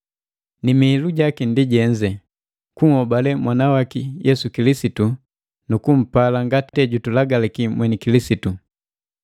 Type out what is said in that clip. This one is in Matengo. Ni mihilu jaki ndi jenze: Kunhobale Mwana waki Yesu Kilisitu, nukupalana ngati ejutulagalakiya mweni Kilisitu.